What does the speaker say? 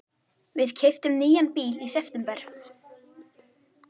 Við keyptum nýjan bíl í september.